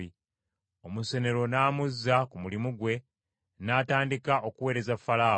Omusenero n’amuzza ku mulimu gwe, n’atandika okuweereza Falaawo,